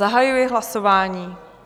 Zahajuji hlasování.